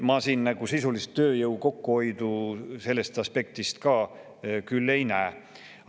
Ma siin sisulist tööjõu kokkuhoidu sellest aspektist lähtudes küll ei näe.